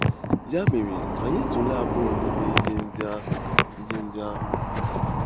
Ya mere, ka anyị tụlee abụọ n'ime ihe ndị ahụ ihe ndị ahụ.